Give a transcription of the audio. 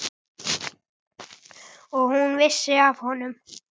Og hún vissi af honum.